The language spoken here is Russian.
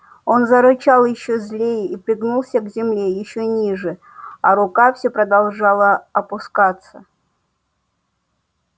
он зарычал ещё злее и пригнулся к земле ещё ниже а рука все продолжала опускаться